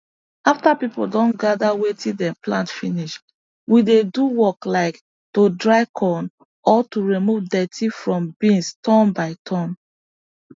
after people don gather wetin them plant finish we dey do work like to dry corn or to remove dirty from beans turn by turn